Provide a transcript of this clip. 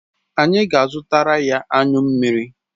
Anyi ga azutaraya anyu mmiri